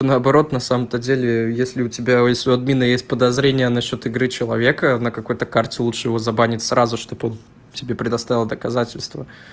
наоборот на самом-то деле если у тебя если у админа есть подозрение насчёт игры человека на какой-то карте лучше его забанит сразу чтоб он тебе предоставил доказательства